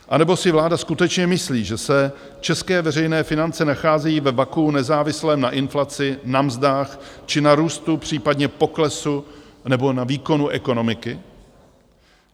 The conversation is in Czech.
Anebo si vláda skutečně myslí, že se české veřejné finance nacházejí ve vakuu nezávislém na inflaci, na mzdách či na růstu případně poklesu nebo na výkonu ekonomiky?